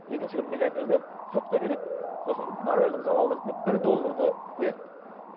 екінші бір миллионерді сотқа береді сосын моральдық залал ретінде бір долларды қояды